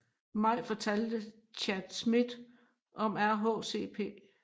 Maj fortalte Chad Smith om RHCP